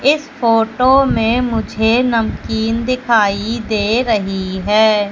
इस फोटो में मुझे नमकीन दिखाई दे रही है।